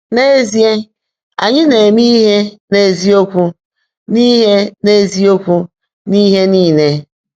N’ézíe, ányị́ “ná-èmé íhe n’ézíokwú n’íhe n’ézíokwú n’íhe níle.”